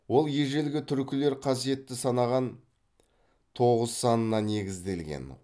ол ежелгі түркілер қасиетті санаған тоғыз санына негізделген